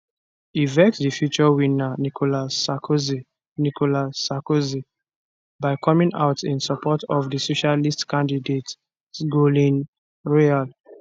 e vex di future winner nicolas sarkozy nicolas sarkozy by coming out in support of di socialist candidate sgolne royal